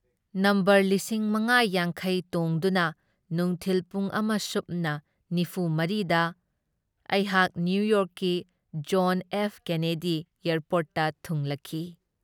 Number ꯂꯤꯁꯤꯡ ꯃꯉꯥ ꯌꯥꯡꯈꯩ ꯇꯣꯡꯗꯨꯅ ꯅꯨꯡꯊꯤꯜ ꯄꯨꯡ ꯑꯃ ꯁꯨꯞꯅ ꯅꯤꯐꯨ ꯃꯔꯤꯗ ꯑꯩꯍꯥꯛ ꯅꯤꯌꯨꯌꯣꯔꯛꯀꯤ ꯖꯣꯟ ꯑꯦꯐ ꯀꯦꯅꯦꯗꯤ ꯑꯦꯌꯔꯄꯣꯔꯠꯇ ꯊꯨꯡꯂꯛꯈꯤ ꯫